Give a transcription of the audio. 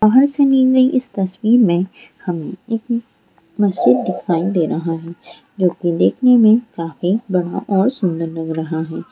बाहर से नी गई इस तस्वीर में हम एक मस्जिद दिखाई दे रहा है जोकि देखने में काफी बड़ा और सुन्दर लग रहा है।